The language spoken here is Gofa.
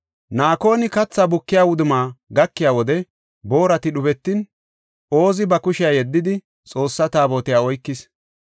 Naakoni katha bukiya wudumma gakiya wode boorati dhubetin, Oozi ba kushiya yeddidi, Xoossa Taabotiya oykis.